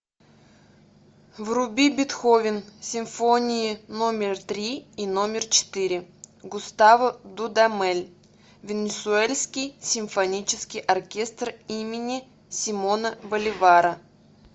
вруби бетховен симфонии номер три и номер четыре густаво дудамель венесуэльский симфонический оркестр имени симона боливара